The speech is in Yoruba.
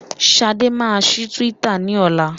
Ṣadé máa ṣí Twitter ní ọlá.